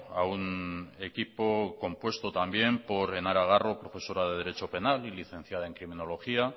a un equipo compuesto también por enara garro profesora de derecho penal y licenciada en criminología